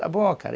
Está bom, cara.